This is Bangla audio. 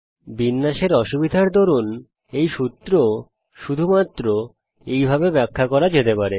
বিন্যাসের অসুবিধার দরুন এই সূত্র শুধুমাত্র এই ভাবে ব্যাখ্যা করা যেতে পারে